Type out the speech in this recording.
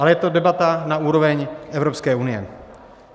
Ale je to debata na úroveň Evropské unie.